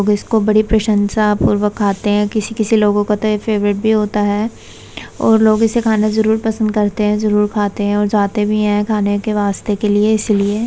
लोग इसको बड़ी प्रशंसा पूर्वक खाते हैं। किसी-किसी लोगों का तो यह फेवरेट भी होता है और लोग इसे खाना जरूर पसंद करते हैं जरूर खाते हैं और जाते भी हैं खाने के वास्ते के लिए इसलिए --